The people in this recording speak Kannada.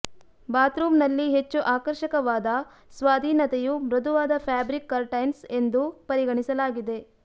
ಬಾತ್ರೂಮ್ನಲ್ಲಿ ಹೆಚ್ಚು ಆಕರ್ಷಕವಾದ ಸ್ವಾಧೀನತೆಯು ಮೃದುವಾದ ಫ್ಯಾಬ್ರಿಕ್ ಕರ್ಟೈನ್ಸ್ ಎಂದು ಪರಿಗಣಿಸಲಾಗಿದೆ